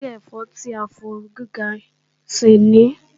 Ṣé ẹ̀fọ́ tí a fi ooru gíga ṣè ní?